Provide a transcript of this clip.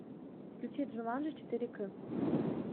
включи джуманджи четыре к